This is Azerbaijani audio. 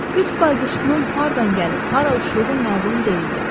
Qütb bayquşunun hardan gəlib hara uçduğu məlum deyildi.